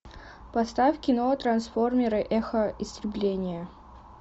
поставь кино трансформеры эхо истребления